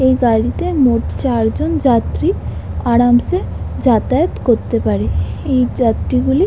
এই গাড়িতে মোট চার জন যাত্রী আরামসে যাতায়াত করতে পারে। এই যাত্রীগুলি ।